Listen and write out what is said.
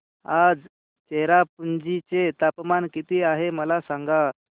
आज चेरापुंजी चे तापमान किती आहे मला सांगा